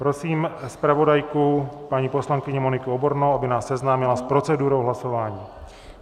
Prosím zpravodajku, paní poslankyni Moniku Obornou, aby nás seznámila s procedurou hlasování.